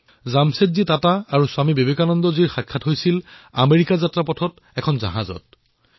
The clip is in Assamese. জামছেদজী টাটা আৰু স্বামী বিবেকানন্দৰ সাক্ষাৎ আমেৰিকা যাত্ৰাৰ সময়ত জাহাজত হৈছিল